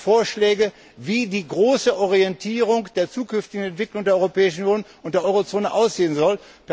Er macht Vorschläge, wie die große Orientierung der zukünftigen Entwicklung der Europäischen Union und der Euro Zone aussehen soll.